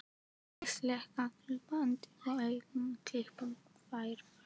Ég slekk á segulbandinu og ákveð að klippa þær.